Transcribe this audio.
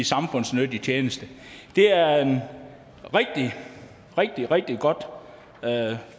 samfundsnyttig tjeneste det er et rigtig rigtig godt